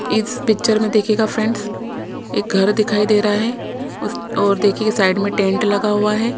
इस पिक्चर में देखिएगा फ्रेंड्स एक घर दिखाई दे रहा है उस और देखिए साइड में टेंट लगा हुआ है।